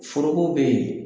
Foro bɛ yen